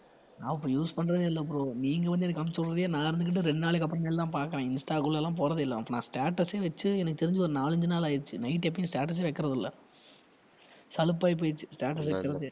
நான் இப்ப use பண்றதே இல்லை bro நீங்க வந்து எனக்கு அனுப்புச்சு விடுறதே நான் இருந்துகிட்டு ரெண்டு நாளைக்கு அப்புறமேல் தான் பார்க்குறேன் இன்ஸ்டாக்குள்ள எல்லாம் போறதே இல்லை இப்ப நான் status ஏ வச்சு எனக்கு தெரிஞ்சு ஒரு நாலஞ்சு நாள் ஆயிருச்சு night எப்பவும் status ஏ வைக்கிறது இல்ல சலிப்பாய் போயிருச்சு status வைக்கிறதே